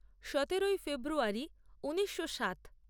সতেরোই ফেব্রুয়ারী ঊনিশো সাত